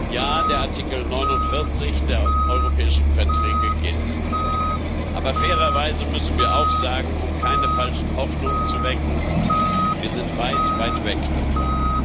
Ja, der Artikel 49 der Europäischen Verträge gilt. Aber fairerweise müssen wir auch sagen, um keine falschen Hoffnungen zu wecken Wir sind weit, weit weg davon.